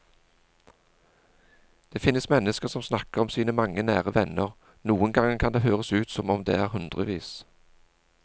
Det finnes mennesker som snakker om sine mange nære venner, noen ganger kan det høres ut som om det er hundrevis.